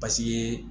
Basi ye